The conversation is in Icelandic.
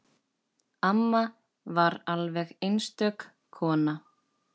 Amma var alveg einstök kona.